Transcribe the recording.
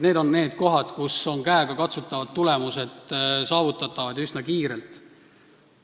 Need on need kohad, kus käegakatsutavad tulemused on üsna kiirelt saavutatavad.